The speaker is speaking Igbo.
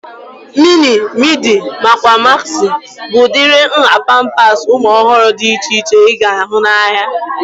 Mini, midi nakwa magzi bụ udiri nhá pampasi ụmụ ọhụrụ dị iche iche ị ga-ahụ n'ahia